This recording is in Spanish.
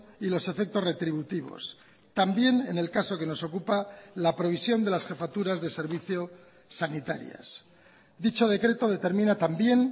y los efectos retributivos también en el caso que nos ocupa la previsión de las jefaturas de servicio sanitarias dicho decreto determina también